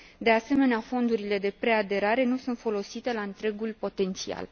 De asemenea, fondurile de preaderare nu sunt folosite la întregul potențial.